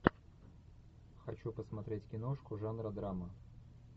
хочу посмотреть киношку жанра драма